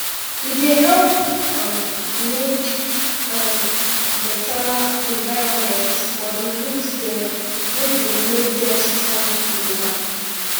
e dey help um make um better environment for di root dem wey dey make dem strong gidigba